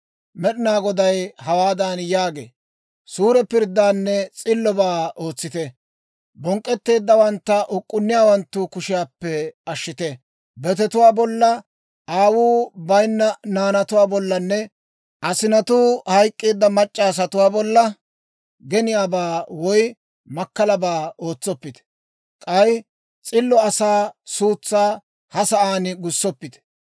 Med'inaa Goday hawaadan yaagee; «Suure pirddaanne s'illobaa ootsite. Bonk'k'etteeddawantta uk'k'unniyaawanttu kushiyaappe ashshite. Betetuwaa bolla, aawuu bayinna naanatuwaa bollanne asinatuu hayk'k'eedda mac'c'a asatuwaa bolla geniyaabaa woy makkalabaa ootsoppite. K'ay s'illo asaa suutsaa ha sa'aan gussoppite.